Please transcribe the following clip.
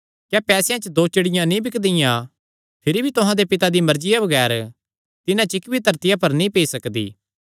क्या पैसेयां च दो चिड़ियां नीं बिकदियां भिरी भी तुहां दे पिता दी मर्जिया बगैर तिन्हां च इक्क भी धरतिया पर नीं पेई सकदी